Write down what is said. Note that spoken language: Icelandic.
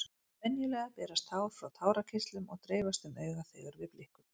Venjulega berast tár frá tárakirtlum og dreifast um augað þegar við blikkum.